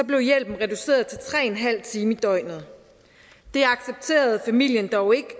blev hjælpen reduceret til tre en halv time i døgnet det accepterede familien dog ikke